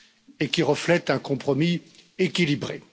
et qui reflète un compromis équilibré.